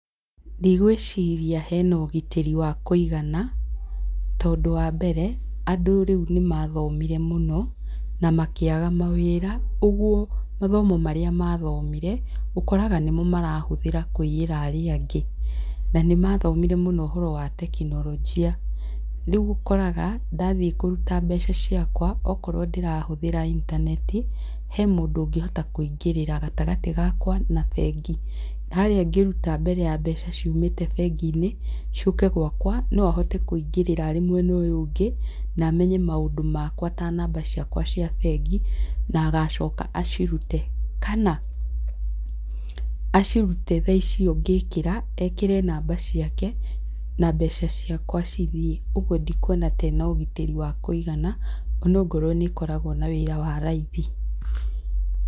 Ndigwĩciria hena ũgitĩri wa kũigana, tondũ wa mbere, andũ rĩu nĩ mathomire mũno, na makĩaga mawĩra, ũguo mathomo marĩa mathomire, ũkoraga nĩmo marahũthĩra kũiyĩra arĩa angĩ. Na nĩ mathomire mũno ũhoro wa tekinolojia. Riũ ũkoraga ndathiĩ kũruta mbeca ciakwa okorwo ndĩrahũthĩra intaneti, he mũndu ũngĩhota kũingĩrĩra gatagatĩ gakwa na bengi. Harĩa ngĩruta mbere ya mbeca ciumĩte bengi-inĩ, ciũke gwakwa, no ahote kũingĩrĩra arĩ mwena ũyũ ũngĩ, na amenye maũndũ makwa ta namba ciakwa cia bengi, na agacoka acirute. Kana, acirute thaa icio ngĩkĩra, ekĩre namba ciake, na mbeca ciakwa cithiĩ. Oguo ndikuona ta ĩna ũgitĩri wa kũigana, ona ongorwo nĩ ĩkoragwo na wĩra wa raithi.